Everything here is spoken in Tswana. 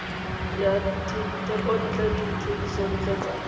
ya dithekontle le dithekisontle tsa